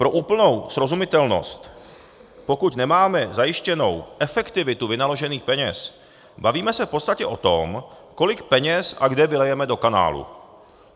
Pro úplnou srozumitelnost, pokud nemáme zajištěnou efektivitu vynaložených peněz, bavíme se v podstatě o tom, kolik peněz a kde vylijeme do kanálu.